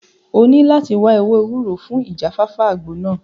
O ní láti wáá ewé ewúro fún ìjáfáfá àgbo náà